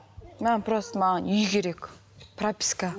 маған просто маған үй керек прописка